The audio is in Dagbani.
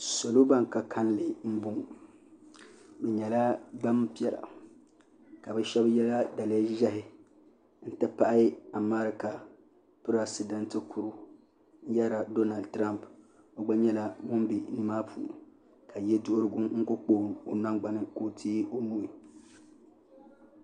Salo ban ka kalli m boŋɔ bɛ nyɛla gbampiɛla ka bɛ sheba yela daliya ʒehi n ti pahi amarika piresidenti kuro n yerila donal tirompi o gba nyɛla ŋun be ni maa puuni ka yeduhurigu n kuli kpa o nangbani ka o teegi o nuu.